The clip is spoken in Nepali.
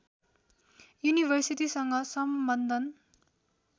युनिभर्सिटीसँग सम्बन्धन